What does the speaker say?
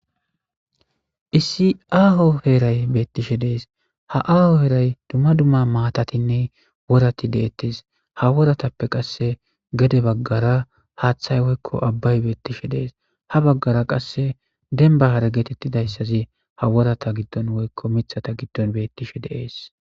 Issi aaho heeray beettishe dees ha aaho heeray dumma dumma maatatinne worati deettes ha woratappe qasse gede baggara haaththay woykko abbay beettishe dees ha baggara qasse demba haragetettidayssazi ha worata giddon woykko mithata giddon beettishe deees.